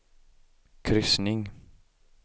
kryssning